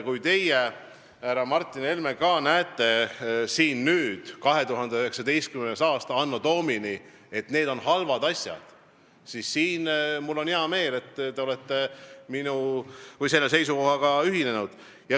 Kui teie, härra Martin Helme, näete nüüd, anno Domini 2019, et need on halvad asjad, siis mul on hea meel, et te olete selle seisukohaga ühinenud.